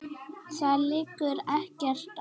Það liggur ekkert á.